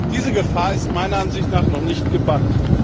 Diese Gefahr ist meiner Ansicht nach noch nicht gebannt.